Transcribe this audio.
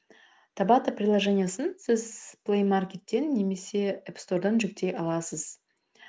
табата приложениесін сіз плей маркеттен немесе еп стордан жүктей аласыз